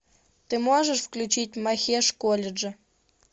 ты можешь включить махеш каледжа